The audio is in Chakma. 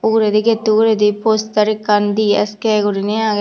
uguredi gate u uguredi poster ekkan dsk guriney agey.